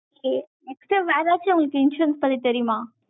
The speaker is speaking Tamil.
next time ஏதாச்சும் உங்களுக்கு insurance பத்தி தெரியுமா